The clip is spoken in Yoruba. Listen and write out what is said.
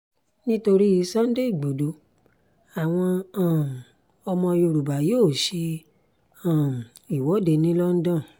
nítorí sunday igbodò àwọn um ọmọ yorùbá yóò ṣe um ìwọ́de ní london